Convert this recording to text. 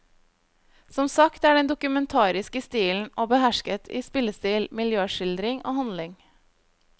Som sagt er den dokumentarisk i stilen, og behersket i spillestil, miljøskildring og handling.